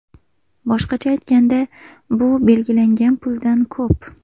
Boshqacha aytganda, bu belgilangan puldan ko‘p.